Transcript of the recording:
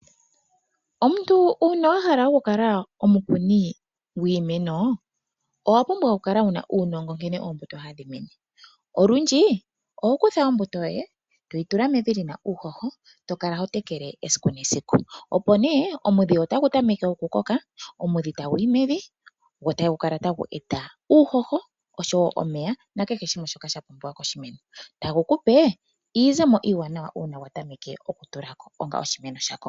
Omuntu una wahala okukala omukuni gwiimeno owa pumbwa okukala wu na uunongo nkene ombuto hadhi mene. Olundji oho kutha ombuto yoye e toyi tula mevi li na uuhoho eto kala ho tekele esiku nesiku, opo nee omudhi otagu tameke okukoka, omudhi tagu yi mevi go tagu kala tagu eta uuhoho, osho wo omeya na kehe shimwe shoka sha pumbiwa koshimeno, tagu kupe iizemo iwanawa una gwa tameke okutula ko una oshimeno sha koko.